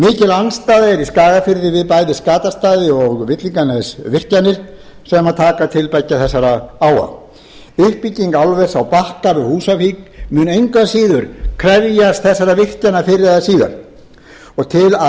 andstaða er í skagafirði við bæði skatastaða og villinganesvirkjanir sem taka til beggja þessara á uppbygging álvers á bakka við húsavík mun engu að síður krefjast þessara virkjana fyrr eða síðar til að